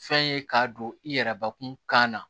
Fɛn ye k'a don i yɛrɛ bakun kan na